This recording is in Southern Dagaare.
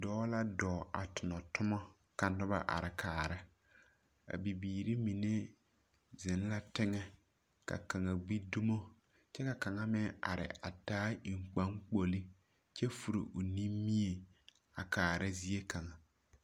Dͻͻ la dͻͻŋ a tona toma ka noba are kaara. A bibiiri mine zeŋ la teŋԑ ka kaŋa gbi dumo kyԑ ka kaŋa meŋ are a taa eŋkpaakpolo kyԑ furi o nimie a kaara ziekaŋa.